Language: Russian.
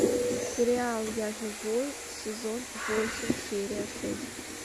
сериал я живой сезон восемь серия шесть